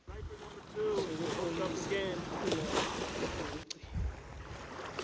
sokutlolisa inarha yokugcina